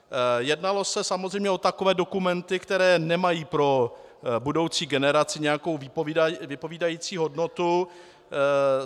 Jednalo se samozřejmě o takové dokumenty, které nemají pro budoucí generace nějakou vypovídající hodnotu.